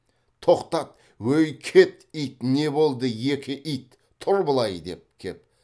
тоқтат ой кет ит не болды екі ит тұр былай деп кеп